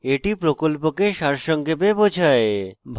এটি প্রকল্পকে সারসংক্ষেপে বোঝায়